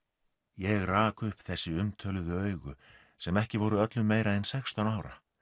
ég rak upp þessi umtöluðu augu sem ekki voru öllu meira en sextán ára